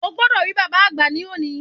O gbodò rí bàbáa àgbà ní òní